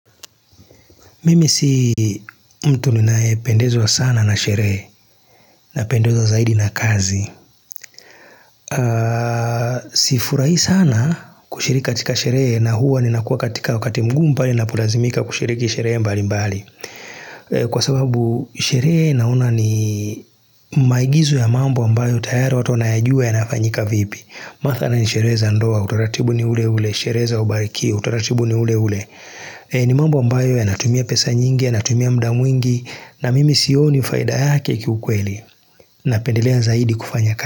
Mimi si mtu ninae pendezwa sana na sherehe napendezwa zaidi na kazi Sifurahi sana kushiri katika sherehe na huwa ninakuwa katika wakati mgumu pale ninapolazimika kushiriki sherehe mbali mbali Kwa sababu sherehe naona ni maigizo ya mambo ambayo tayara watu wanayajuwa yanafanyika vipi Mathalani sherehe za ndoa, utaratibu ni ule ule, sherehe ubariki, utaratibu ni ule ule ni mambo ambayo yana tumia pesa nyingi yana tumia muda mwingi na mimi sioni faida yake kiukweli Napendelea zaidi kufanya kazi.